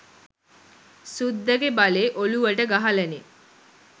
සුද්දගෙ බලේ ඔළුවට ගහලනෙ.